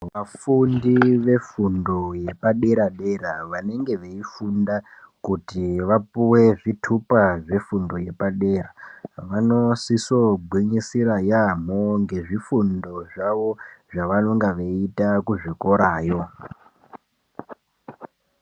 Vafundi vefundo yepadera-dera vanenge veifunda kuti vapuwe zvitupa zvefundo yepadera, vanosiso gwinyisira yaamho ngezvifundo zvavo zvavanonga veiita kuzvikorayo.